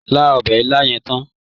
Lá ọbè ilá yẹn tán!